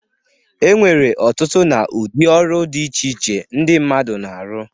E nwere ọtụtụ na udị ọrụ dị iche iche ndị mmadụ na-arọ.